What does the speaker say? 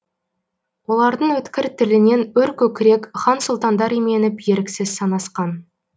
олардың өткір тілінен өр көкірек хан сұлтандар именіп еріксіз санасқан